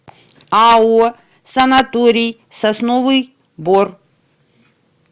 ао санаторий сосновый бор